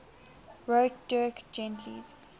wrote dirk gently's